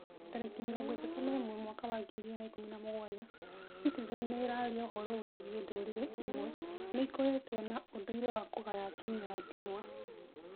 Tarĩki mĩrongo ĩtatũ na ĩmwe mwaka wa ngiri igĩrĩ na ikũmi na mũgwanja; Citizen nĩĩraria ũhoro wĩgiĩ ndũrĩrĩ imwe nĩikoretwo na ũndũire wa kũgaya atumia a ndĩgwa?